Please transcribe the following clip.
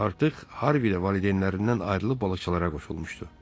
Artıq Harvi də valideynlərindən ayrılıb balıqçılara qoşulmuşdu.